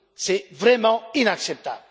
c'est vraiment inacceptable!